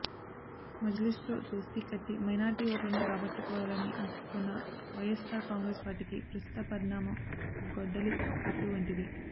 మజ్లీస్తో దోస్తీ కట్టి మైనారిటీ ఓట్లను రాబట్టుకోవాలని ఆశిస్తున్న వైయస్సార్ కాంగ్రెసు పార్టీకి ప్రస్తుత పరిణామం గొడ్డలి పెట్టు వంటిదే